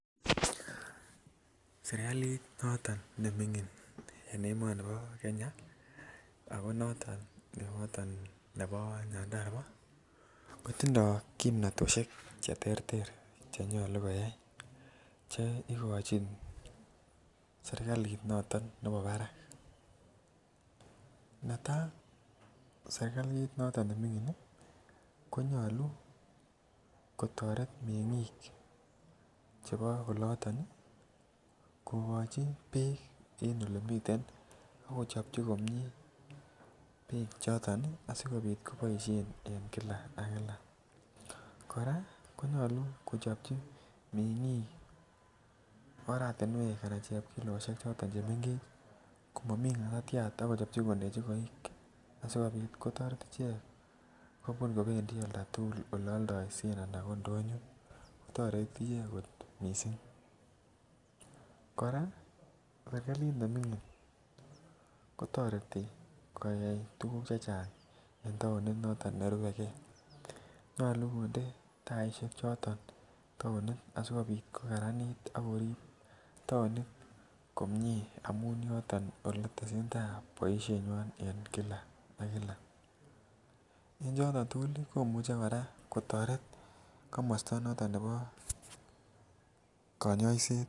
Serkalit noton nemingin en emoni bo Kenya noton nebo nyandarua ko tindoi kimnatosiek Che terter Che nyolu ko yai Che igochin serkalit noton nebo barak netai ko serkalit noton nemingin ko nyolu kotoret mengik chebo oloto kogochi Beek en olemiten ak kechopchi komie asikobit koboisien en kila ak kila kora ko chopchi mengik oratinwek anan chepkilosiek choton chemengech ko momi ngatatyat ak kechopchi kondechi koik asi kobit kotoret icheget kobun kobendi oldo tugul oldoisien anan ko ndonyo kotoreti icheget kot mising kora serkalit nemingin kotoreti ko yai tuguk chechang en taonit noton nerube ge nyolu taisiek taonit asi kobit ko karanit ak korib taonit komie amun yoton Ole tesentai boisienywa en kila ak kila en choton tugul ko imuche kotoret komosta noton nebo konyoiset